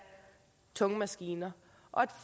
tunge maskiner og et